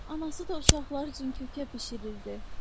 Anası da uşaqlar üçün kökə bişirirdi.